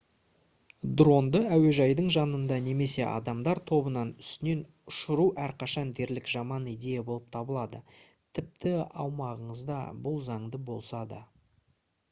дронды әуежайдың жанында немесе адамдар тобының үстінен ұшыру әрқашан дерлік жаман идея болып табылады тіпті аумағыңызда бұл заңды болса да